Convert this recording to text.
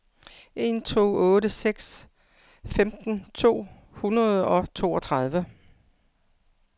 en to otte seks femten to hundrede og toogtredive